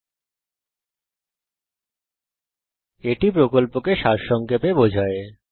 এটি কথ্য টিউটোরিয়াল প্রকল্পকে সারসংক্ষেপে বোঝায়